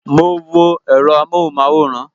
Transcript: Mo wo èro amohunmaworan